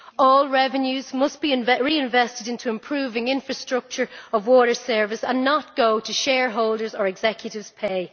All revenues must be reinvested into improving infrastructure of water service and not go to shareholders or executives' pay.